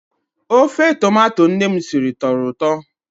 Ofe tomato nne m siri tọrọ ụtọ.